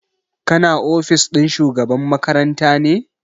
Ka na ofis ɗin shugaban makaranta ne?